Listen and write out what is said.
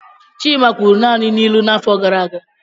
Chima kwuru naanị n'ilu n'afọ gara aga.